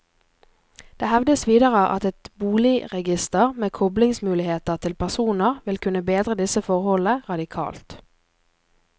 Det hevdes videre at et boligregister med koblingsmuligheter til personer vil kunne bedre disse forholdene radikalt.